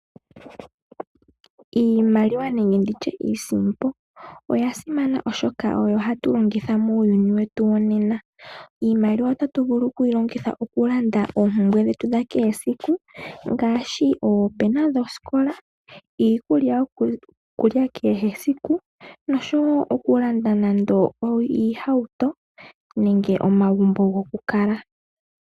Iimaliwa nenge nditya iisimpo oya simana oshoka oyo hatu longitha muuyuni wetu wonena . Iimaliwa otatu vulu okuyilongitha okulanda oompumbwe dhetu dha kehe esiku ngaashi oopena dhoskola, iikulya yokulya kehe esiku noshowo okulanda nando iihauto nenge omagumbo gokukala.